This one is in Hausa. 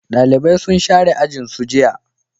dalibai sun share ajin su jiya